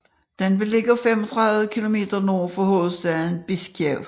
Den er beliggende 35 km nord for hovedstaden Bisjkek